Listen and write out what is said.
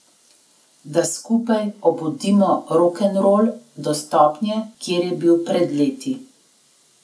Da skupaj obudimo rokenrol do stopnje, kjer je bil pred leti.